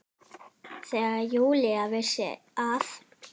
Þegar Júlía vissi að